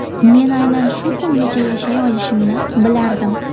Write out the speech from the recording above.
Men aynan shu kungacha yashay olishimni bilardim.